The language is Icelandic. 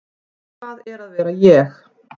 Hvað er að vera ég?